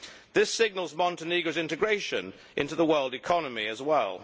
This signals Montenegro's integration into the world economy as well.